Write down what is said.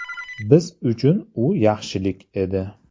Biz uchun u yaxshilik edi.